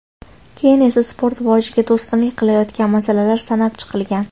Keyin esa sport rivojiga to‘sqinlik qilayotgan masalalar sanab chiqilgan.